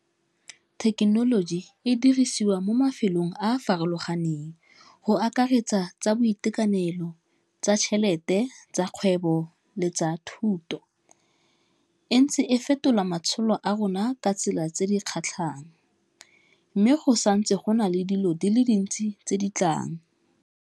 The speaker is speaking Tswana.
Thekenoloji e dirisiwa mo mafelong a a farologaneng go akaretsa tsa boitekanelo, tsa tšhelete, tsa kgwebo, le tsa thuto, e ntse e fetola matshelo a rona ka tsela tse di kgatlhang mme go santse gona le dilo di le dintse tse di tlang.